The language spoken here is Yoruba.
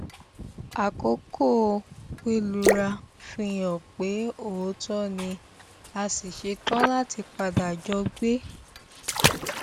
akókò pẹlúra fi hàn pé òótọ ni a sì ṣetán láti padà jọ gbé